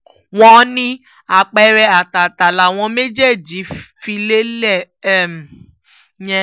wọ́n ní àpẹẹrẹ àtàtà làwọn méjèèjì fi lélẹ̀ um yẹn